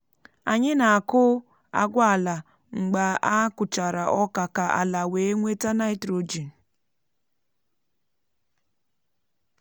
anyị na-akụ agwa ala mgbe a kụchara oka ka ala wee nweta nitrogen. um